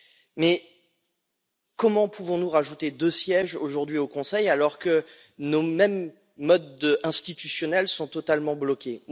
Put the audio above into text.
Mais comment pouvons nous rajouter deux sièges, aujourd'hui, au Conseil, alors que nos mêmes modes institutionnels sont totalement bloqués?